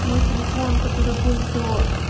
мой телефон который был до